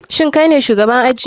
Shin kaine shugaban aji?